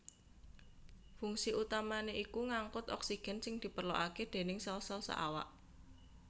Fungsi utamané iku ngangkut oksigen sing diperlokaké déning sel sel saawak